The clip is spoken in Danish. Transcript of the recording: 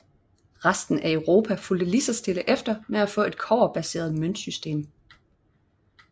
Resten af Europa fulgte lige så stille efter med at få et kobberbaseret møntsystem